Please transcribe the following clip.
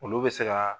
Olu bɛ se ka